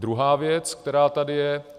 Druhá věc, která tady je.